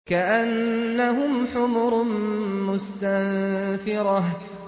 كَأَنَّهُمْ حُمُرٌ مُّسْتَنفِرَةٌ